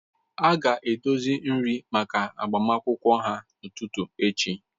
A ga-edozi nri maka agbamakwụkwọ ahụ n'ụtụtụ echi